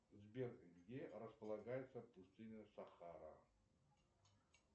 сбер где располагается пустыня сахара